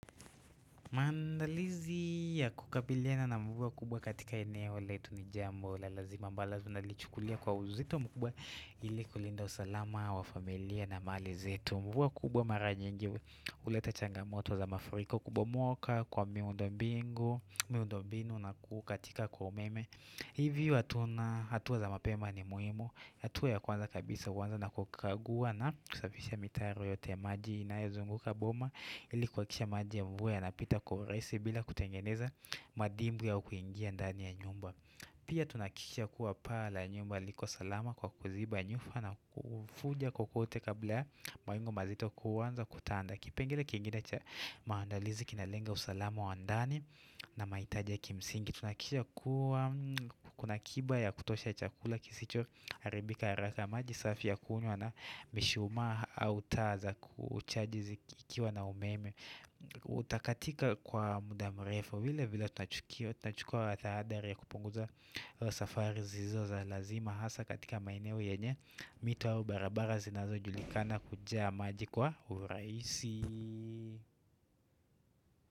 Maandalizi ya kukabiliana na mvua kubwa katika eneo letu ni jambo la lazima ambalo lazima lichukulia kwa uzito mkubwa ili kulinda usalama wa familia na mali zetu Mvua kubwa mara nyingi uleta changamoto za mafuriko kubomoka kwa miundombinu na kukatika kwa umeme Hivyo hatua za mapema ni muhimu hatua ya kwanza kabisa uwanza na kukagua na kusafisha mitaro yote ya maji inayozunguka boma ili kuhakisha maji ya mvua yanapita kwa urahisi bila kutengeneza madimbwi au kuingia ndani ya nyumba pia tunahakikisha kuwa paa la nyumba liko salama kwa kuziba nyufa na kufuja kukote kabla mawingu mazito kuwanza kutanda kipengele kingine cha maandalizi kinalenga usalama wa ndani na mahitaja kimsingi tunhakikisha kuwa kuna kiba ya kutosha chakula kisicho haribika haraka maji safi ya kunywa na mishumaa au taa za kuchaji zikiwa na umeme Utakatika kwa muda mrefu vile vile tunachukio Tunachukua watahadari ya kupunguza safari zizo za lazima Hasa katika maeneo yenye mito au barabara zinazo julikana kujaa maji kwa urahisi.